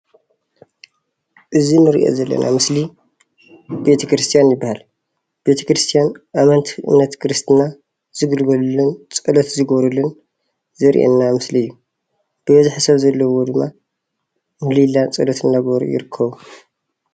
እዚ እንሪኦ ዘለና ምስሊ ቤቴክርስትያን ይበሃል። ቤተክርስትያን ኣመንቲ እምነት ክርስትና ዝግልገሉሉን ፀሎት ዝገብሩሉን ዘርኦየና ምስሊ እዩ። ብበዝሒ ሰብ ዘለዎ ድማ ምህሊላን ፀሎትን እናገበሩ ይርከቡ።